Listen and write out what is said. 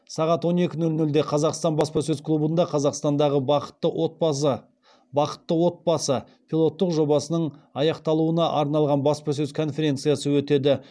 сағат он екі нөл нөлде қазақстан баспасөз клубында қазақстандағы бақытты отбасы пилоттық жобасының аяқталуына арналған баспасөз конференциясы өтеді